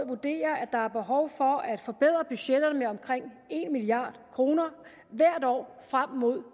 vurderer at der er behov for at forbedre budgetterne med omkring en milliard kroner hvert år frem mod